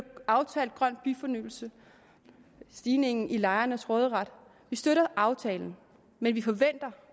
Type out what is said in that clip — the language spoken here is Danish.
aftalt grøn byfornyelse og stigningen i lejernes råderet vi støtter aftalen men vi forventer